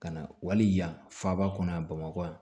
Ka na wali yan faba kɔnɔ yan bamakɔ yan